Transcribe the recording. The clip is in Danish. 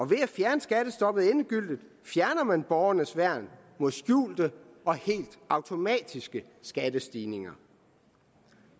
ved at fjerne skattestoppet endegyldigt fjerner man borgernes værn mod skjulte og helt automatiske skattestigninger